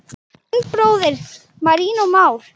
Þinn bróðir, Marinó Már.